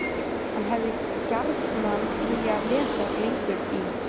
HANN HEFÐI GJARNAN VILJAÐ LESA LENGUR Í